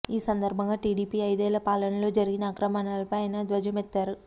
ఈ సందర్భంగా టీడీపీ ఐదేళ్ల పాలనలో జరిగిన అక్రమాలపై ఆయన ధ్వజమెత్తారు